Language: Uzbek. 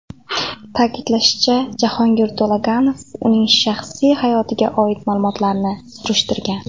Ta’kidlashicha, Jahongir To‘laganov uning shaxsiy hayotiga oid ma’lumotlarni surishtirgan.